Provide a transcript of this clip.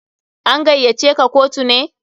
An gaiya ce ka kotu ne?